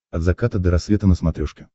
от заката до рассвета на смотрешке